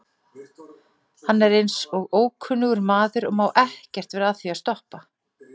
Hann er eins og ókunnugur maður og má ekkert vera að því að stoppa.